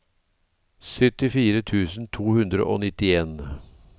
syttifire tusen to hundre og nittien